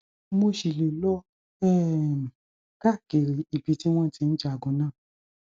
mo ṣì lè lọ um káàkiri ibi tí wọn ti ń jagun náà